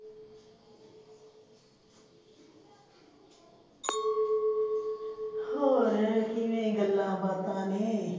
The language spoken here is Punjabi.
ਹੋਰ ਕਿਵੇਂ ਗੱਲਾਂ ਬਾਤਾ ਨੇ